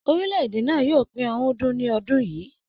Orilẹ èdè náà yóò pe ọ̀rúndún ní ọdún yìí.